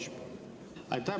Aitäh!